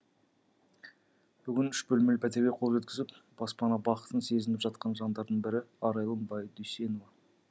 бүгін үш бөлмелі пәтерге қол жеткізіп баспана бақытын сезініп жатқан жандардың бірі арайлым байдүйсенова